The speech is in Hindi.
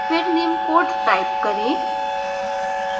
फिर निम्न code type करें